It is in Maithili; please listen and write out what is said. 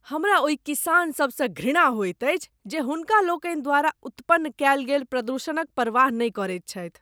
हमरा ओहि किसान सभ सँ घृणा होइत अछि जे हुनका लोकनि द्वारा उत्पन्न कएल गेल प्रदूषणक परवाह नहि करैत छथि।